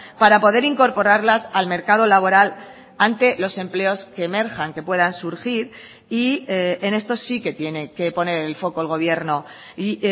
para poder incorporarlas al mercado laboral ante los empleos que emerjan que puedan surgir y en esto sí que tiene que poner el foco el gobierno y